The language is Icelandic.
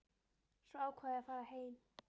Svo ákvað ég að fara heim.